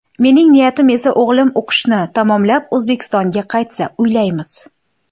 Mening niyatim esa o‘g‘lim o‘qishini tamomlab, O‘zbekistonga qaytsa, uylaymiz.